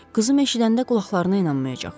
Qızım eşidəndə qulaqlarına inanmayacaq.